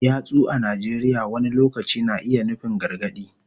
Yatsu a Najeriya wani lokaci na iya nufin gargadi.